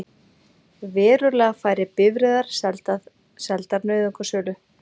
Verulega færri bifreiðar seldar nauðungarsölu